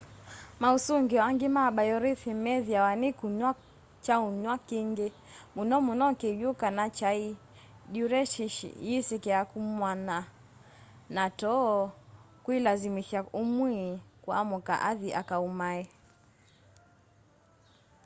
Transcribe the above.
mausungio angi ma biorhythm meethiawa ni kunywa kyaunywa kingi muno muno kiwũ kana kyai duiretici yisikie kumanwa na too kuilasimithya umwi kuamka athi akaumae